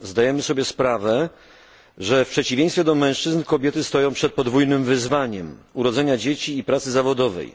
Zdajemy sobie sprawę, że w przeciwieństwie do mężczyzn kobiety stoją przed podwójnym wyzwaniem urodzenia dzieci i pracy zawodowej.